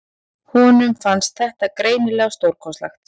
Honum fannst þetta greinilega stórkostlegt.